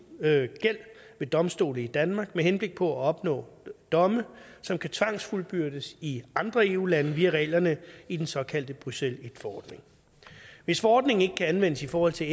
gæld ved domstole i danmark med henblik på at opnå domme som kan tvangsfuldbyrdes i andre eu lande via reglerne i den såkaldte bruxelles i forordning hvis forordningen ikke kan anvendes i forhold til